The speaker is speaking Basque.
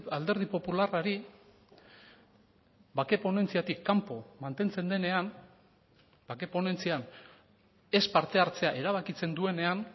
alderdi popularrari bake ponentziatik kanpo mantentzen denean bake ponentzian ez parte hartzea erabakitzen duenean